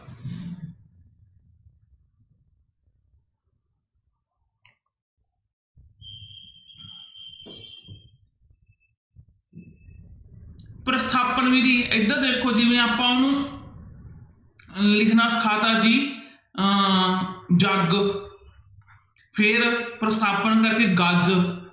ਪ੍ਰਸਥਾਪਨ ਵਿੱਧੀ ਇੱਧਰ ਦੇਖੋ ਜਿਵੇਂ ਆਪਾਂ ਉਹਨੂੰ ਲਿਖਣਾ ਸਿਖਾ ਦਿੱਤਾ ਜੀ ਅਹ ਜੱਗ ਫਿਰ ਪ੍ਰਸਥਾਪਨ ਕਰਕੇ ਗੱਜ